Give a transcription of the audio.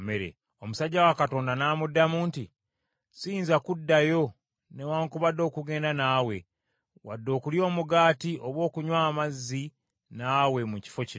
Omusajja wa Katonda n’amuddamu nti, “Siyinza kuddayo newaakubadde okugenda naawe, wadde okulya omugaati oba okunywa amazzi naawe mu kifo kino.